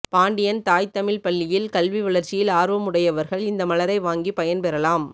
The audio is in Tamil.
பாண்டியன் தாய்த் தமிழ்ப் பள்ளியில் கல்வி வளர்ச்சியில் ஆர்வம் உடையவர்கள் இந்த மலரை வாங்கி பயன்பெறலாம்